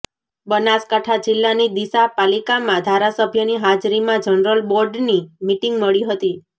બનાસકાંઠા જીલ્લાની ડીસા પાલિકામાં ધારાસભ્યની હાજરીમાં જનરલ બોર્ડની મિટીંગ મળી હતી